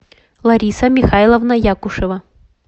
лариса михайловна якушева